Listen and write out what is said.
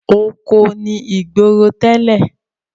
Oko ni ìgboro tẹ́lẹ̀.